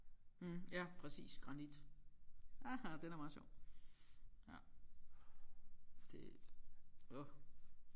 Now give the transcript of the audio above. Mh ja præcis granit aha den er meget sjov ja det åh